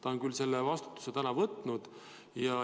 Ta on küll vastutuse tänaseks võtnud.